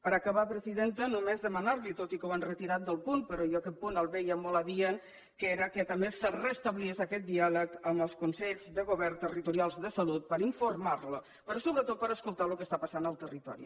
per acabar presidenta només demanar li tot i que ho han retirat del punt però jo aquest punt el veia molt adient que era que també es restablís aquest diàleg amb els consells de govern territorials de salut per informar los però sobretot per escoltar el que està passant al territori